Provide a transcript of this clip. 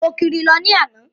Mo kiri lọ ní àná.